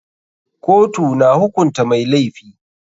Kotu na hukunta mai laifi.